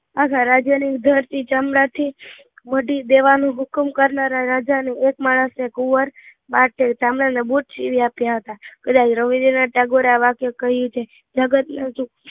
આખા રાજા ને ઉઘડતી ચમડા ને મઢી દેવાનું હુકમ કરતા રાજા ને એક માણસે કુંવર ને બુટ સીવી આપ્યા હતા, આ વાક્ય રવીન્દ્રનાથ ટાગોરે કહીંયુ છે નગર નો જે